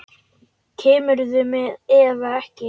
Kemurðu með eða ekki.